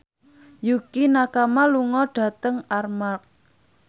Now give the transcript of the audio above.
Yukie Nakama lunga dhateng Armargh